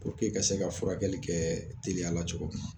ka se ka furakɛli kɛɛ teliya la cogo m